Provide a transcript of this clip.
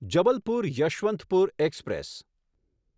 Jabalpur Yeshwantpur express